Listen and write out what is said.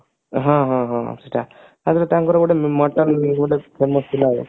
ହଁ ହଁ ହଁ ସେଟା ତାପରେ ତାଙ୍କର ଗୋଟା famous ଥିଲା ବେଳେ